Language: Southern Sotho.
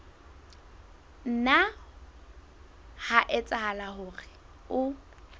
nna ha etsahala hore o